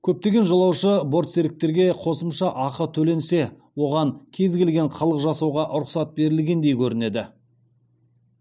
көптеген жолаушы бортсеріктерге қосымша ақы төленсе оған кез келген қылық жасауға рұқсат берілгендей көреді